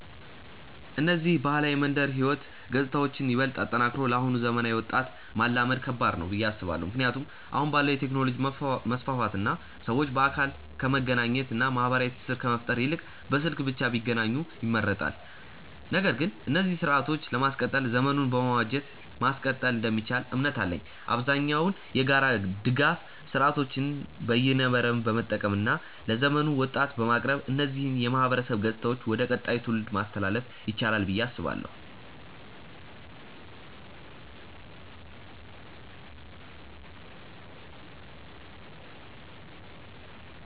እነዚህን ባህላዊ የመንደር ህይወት ገጽታዎችን ይበልጥ አጠናክሮ ለአሁኑ ዘመናዊ ወጣት ማላመድ ከባድ ነው ብዬ አስባለው። ምክንያቱም አሁን ባለው የቴክኖሎጂ መስፋፋት እና ሰዎች በአካል ከመገናኘት እና ማህበራዊ ትስስር ከመፍጠር ይልቅ በስልክ ብቻ ቢገናኙ ይመርጣሉ። ነገር ግን እነዚህን ስርአቶችን ለማስቀጠል ዘመኑን በመዋጀት ማስቀጠል እንደሚቻል እምነት አለኝ። አብዛኛውን የጋራ ድጋፍ ስርአቶችን በይነመረብን በመጠቀም እና ለዘመኑ ወጣት በማቅረብ እነዚህን የማህበረሰብ ገጽታዎች ወደ ቀጣዩ ትውልድ ማስተላለፍ ይቻላል ብዬ አስባለው።